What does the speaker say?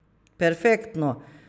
Perfektno.